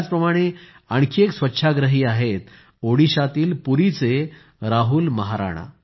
याच प्रमाणे आणखी एक स्वछाग्रही आहेत ओडिशातील पुरीचे राहुल महाराणा